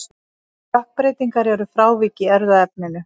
Stökkbreytingar eru frávik í erfðaefninu.